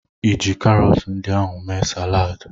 Ịji karọtụ ndị ahụ mee saladị?